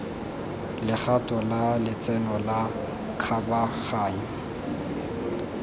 legato la letseno la kgabaganyo